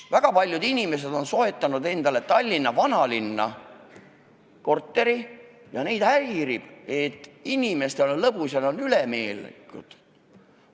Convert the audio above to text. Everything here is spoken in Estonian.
Väga paljud inimesed on soetanud endale Tallinna vanalinna korteri ja neid häirib, et teistel inimestel on lõbus ja nad on ülemeelikud.